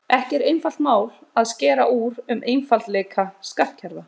Ekki er einfalt mál að skera úr um einfaldleika skattkerfa.